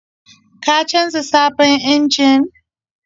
Ka canza sabon injin?